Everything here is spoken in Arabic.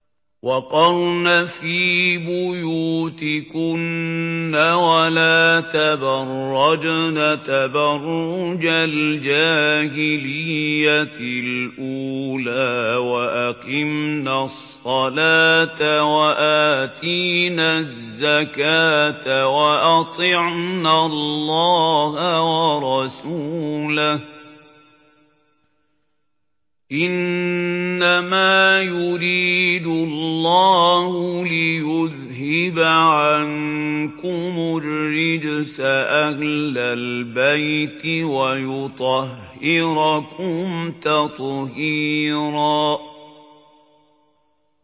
وَقَرْنَ فِي بُيُوتِكُنَّ وَلَا تَبَرَّجْنَ تَبَرُّجَ الْجَاهِلِيَّةِ الْأُولَىٰ ۖ وَأَقِمْنَ الصَّلَاةَ وَآتِينَ الزَّكَاةَ وَأَطِعْنَ اللَّهَ وَرَسُولَهُ ۚ إِنَّمَا يُرِيدُ اللَّهُ لِيُذْهِبَ عَنكُمُ الرِّجْسَ أَهْلَ الْبَيْتِ وَيُطَهِّرَكُمْ تَطْهِيرًا